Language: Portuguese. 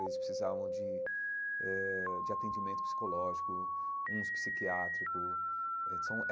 Eles precisavam de eh de atendimento psicológico, uns psiquiátricos.